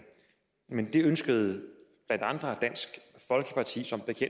men det ønskede blandt andre dansk folkeparti